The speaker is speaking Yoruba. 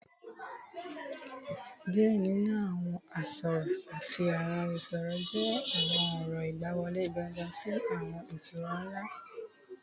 Diẹ ninu awọn arosọ ati awọn isiro jẹ awọn ọrọ igbaniwọle gangan si awọn iṣura nla